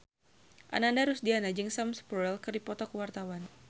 Ananda Rusdiana jeung Sam Spruell keur dipoto ku wartawan